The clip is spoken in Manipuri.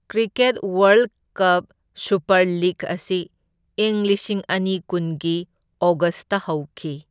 Cricket world cup super league ꯑꯁꯤ ꯏꯪ ꯂꯤꯁꯤꯡ ꯑꯅꯤ ꯀꯨꯟꯒꯤ ꯑꯣꯒꯁꯇ ꯍꯧꯈꯤ꯫